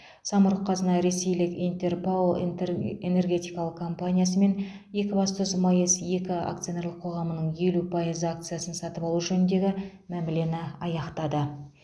самұрық қазына ресейлік интер рао интер энергетикалық компаниясы мен екібастұз маэс екі акционерлік қоғамының елу пайыз акциясын сатып алу жөніндегі мәмілені аяқтады